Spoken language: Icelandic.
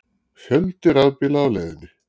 Fjöldi rafbíla á leiðinni